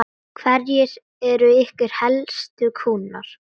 Hverjir eru ykkar helstu kúnnar?